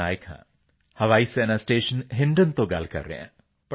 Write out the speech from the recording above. ਪਟਨਾਇਕ ਹਾਂ ਹਵਾਈ ਸੈਨਾ ਸਟੇਸ਼ਨ ਹਿੰਡਨ ਤੋਂ ਗੱਲ ਕਰ ਰਿਹਾ ਹਾਂ